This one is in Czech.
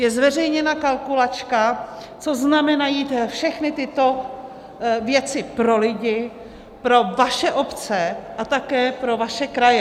Je zveřejněna kalkulačka, co znamenají všechny tyto věci pro lidi, pro vaše obce a také pro vaše kraje.